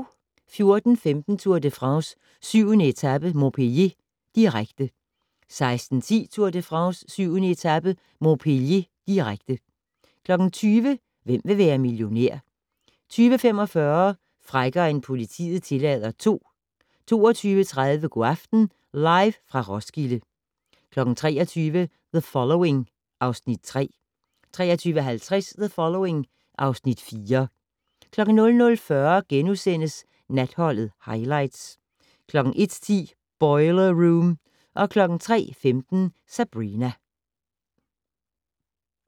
14:15: Tour de France: 7. etape - Montpellier, direkte 16:10: Tour de France: 7. etape - Montpellier, direkte 20:00: Hvem vil være millionær? 20:45: Frækkere end politiet tillader II 22:30: Go' aften - Live fra Roskilde 23:00: The Following (Afs. 3) 23:50: The Following (Afs. 4) 00:40: Natholdet - Highlights * 01:10: Boiler Room 03:15: Sabrina